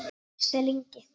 Axel Ingi.